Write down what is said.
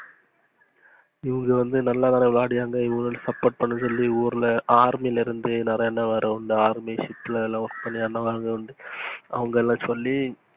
இவங்க வந்து நல்லா விளையாடியாந்து support பண்ண சொல்லி ஊருல army ல இருந்து நெறைய அண்ணனுங்க வந்து army shift work பண்ணி அவங்கெல்லாம் சொல்லி,